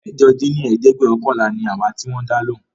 ẹ̀jọ dín ní ẹ̀ẹ́dẹ́gbẹ́ọ̀kànlá ni àwa tí wón dá lóhùn